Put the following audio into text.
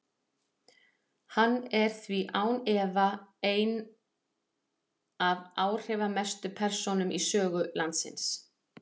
Hann er því án efa ein af áhrifamestu persónum í sögu landsins.